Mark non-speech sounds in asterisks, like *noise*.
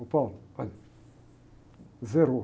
Ô, *unintelligible* olha, zerou.